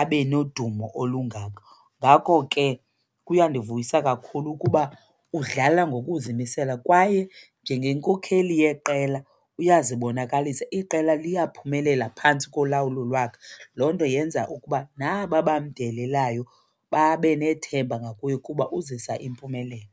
abe nodumo olungako. Ngako ke kuyandivuyisa kakhulu ukuba udlala ngokuzimisela kwaye njengenkokheli yeqela uyazibonakalisa, iqela liyaphumelela phantsi kolawulo lwakhe. Loo nto yenza ukuba naba bamdelelelayo babe nethemba ngakuye kuba uzisa impumelelo.